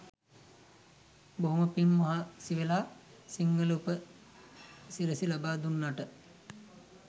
බොහොම පිං මහන්සිවෙලා සිංහල උප සිරැසි ලබා දුන්නට.